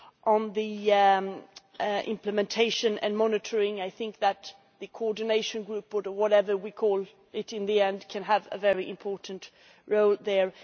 On the implementation and monitoring, I think that the coordination group or whatever we call it in the end can have a very important role there.